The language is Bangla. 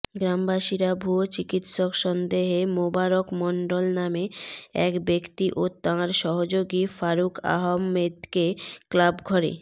গ্রামবাসীরা ভুয়ো চিকিৎসক সন্দেহে মোবারক মণ্ডল নামে এক ব্যক্তি ও তাঁর সহযোগী ফারুক আহমেদকে ক্লাবঘরে